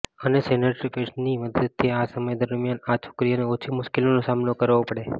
અને સેનિટરી પેડ્સની મદદથી આ સમય દરમિયાન આ છોકરીઓને ઓછી મુશ્કેલીનો સામનો કરવો પડે